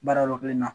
Baara yɔrɔ kelen na